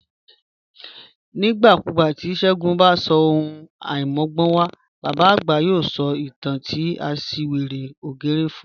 Nigbakugba ti Segun ba ṣe ohun aimọgbọnwa, baba agba yoo sọ itan ti aṣiwere ògérè fun